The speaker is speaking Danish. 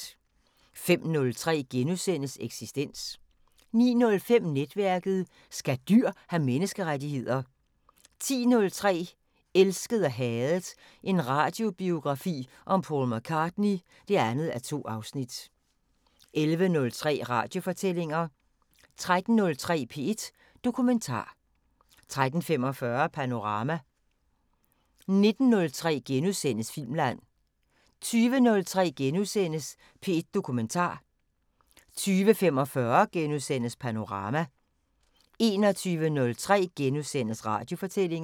05:03: Eksistens * 09:05: Netværket: Skal dyr have menneskerettigheder? 10:03: Elsket og hadet – en radiobiografi om Paul McCartney (2:2) 11:03: Radiofortællinger 13:03: P1 Dokumentar 13:45: Panorama 19:03: Filmland * 20:03: P1 Dokumentar * 20:45: Panorama * 21:03: Radiofortællinger *